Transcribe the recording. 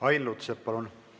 Ain Lutsepp, palun!